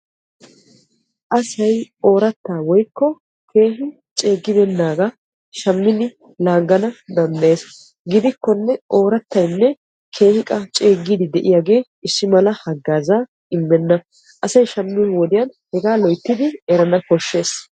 asay oorattaa woyikko keehi ceeggibeennaagaa shiishshidi bayizzana danddayes. gidikkonne oorattayinne qassi ceeggiiddi de'iyagee issi mala haggaazzaa immenna. asay shammiyo wodiyan hegaa loyittidi erana koshshes.